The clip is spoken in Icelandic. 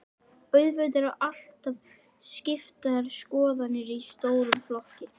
Auðvitað eru alltaf skiptar skoðanir í stórum flokki.